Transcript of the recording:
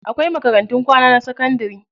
Akwai makarantun kwana na sakandari.